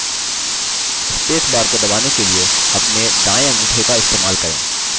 space bar को दबाने के लिए अपना दायें अंगूठे का इस्तेमाल करें